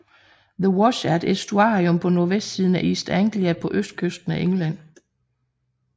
The Wash er et æstuarium på nordvestsiden af East Anglia på østkysten af England